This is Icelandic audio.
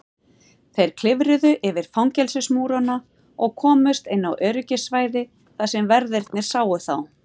Þeir klifruðu yfir fangelsismúrana og komust inn á öryggissvæði þar sem verðirnir sáu þá.